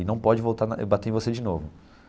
E não pode voltar e bater em você de novo.